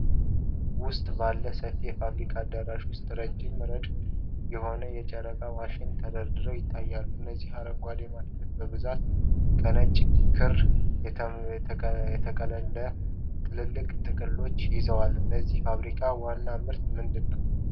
ውስጥ ባለ ሰፊ የፋብሪካ አዳራሽ ውስጥ ረጅም ረድፍ የሆኑ የጨርቃጨርቅ ማሽኖች ተደርድረው ይታያሉ። እነዚህ አረንጓዴ ማሽኖች በብዛት ነጭ ክር የተጠቀለለባቸው ትላልቅ ጥቅሎችን ይዘዋል።። የዚህ ፋብሪካ ዋና ምርት ምንድን ነው?